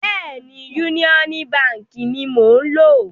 Bẹ́ẹ̀ni, Yúníọ́nú baǹkì ni mò ń lò.